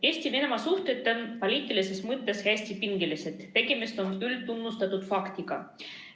Eesti ja Venemaa suhted poliitilises mõttes on hästi pingelised, tegemist on üldtunnustatud faktiga.